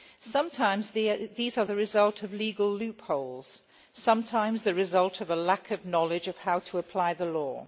Sometimes these are the result of legal loopholes and sometimes the result of a lack of knowledge of how to apply the law.